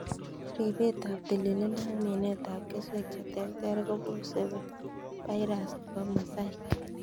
Ripetab tililindo ak minetab keswek cheterter kobose birus nebo mosaic.